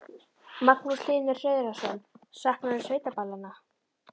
Magnús Hlynur Hreiðarsson: Saknarðu sveitaballanna?